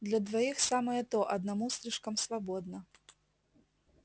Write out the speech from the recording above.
для двоих самое то одному слишком свободно